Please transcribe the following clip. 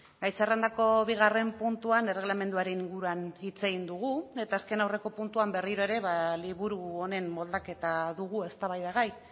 gai zerrendako bigarren puntuan erregelamenduaren inguruan hitz egin dugu eta azken aurreko puntuan berriro ere liburu honen moldaketa dugu eztabaidagai